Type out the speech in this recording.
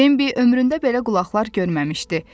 Bembi ömründə belə qulaqlar görməmişdi.